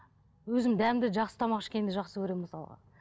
өзім дәмді жақсы тамақ ішкенді жақсы көремін мысалға